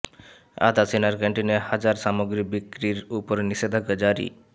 আধা সেনার ক্যান্টিনে হাজার সামগ্রী বিক্রির ওপর নিষেধাজ্ঞা জারি